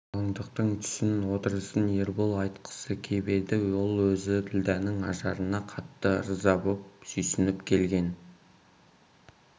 қалыңдықтың түсін отырысын ербол айтқысы кеп еді ол өзі ділдәнің ажарына қатты ырза боп сүйсініп келген